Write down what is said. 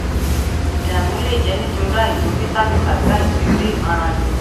ìdààmú lè jẹ nítorí àìtó vitamin tàbí àìtó eré ìmárale